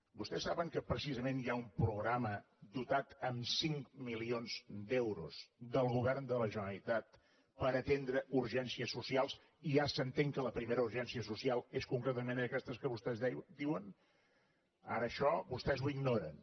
vostès saben que precisament hi ha un programa dotat amb cinc milions d’euros del govern de la generalitat per atendre urgències socials i ja s’entén que la primera urgència social és concretament aquestes que vostès diuen ara això vostès ho ignoren